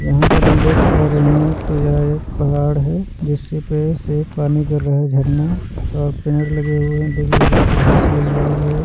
यहां पर हम देख पा रहे हैं तो यह एक पहाड़ है जिस पे से पानी गिर रहा है झरना और पेड़ लगे हुए हैं देख लीजिए घास लगी हुई है।